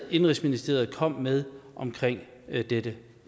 og indenrigsministeriet er kommet med om dette